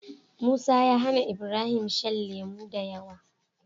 Musa ya hAna Ibrahim shan lemo dayawa